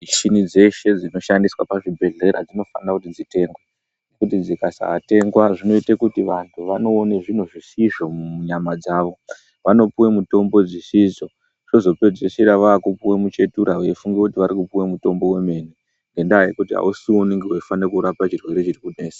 Michini dzeshe dzinoshandiswa muzvibhendlera dzinofanira kuti dzitengwe. Ngekuti dzikasatengwa zvinoita kuti vantu vanoona zvinhu zvisizvo munyama dzavo. Vanopuwa mitombo dzisidzo vozopedzesera vopuwa muchetura veifunga kuti vanooiwa mutombo wemene ngendaa yekuti ausiwo unofanira kurapa chirwere chiri kunesa.